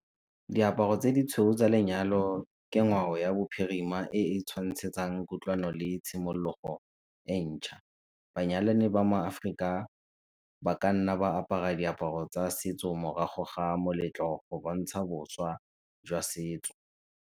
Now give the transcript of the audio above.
Diaparo tse ditshweu tsa lenyalo ke ngwao ya bophirima e e tshwantshetsang kutlwano le tshimologo entšha, banyalani ba maAforika ba ka nna ba apara diaparo tsa setso morago ga moletlo go bontsha boswa jwa setso.